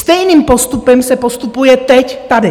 Stejným postupem se postupuje teď tady.